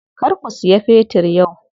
Kar ku siya fetir yau.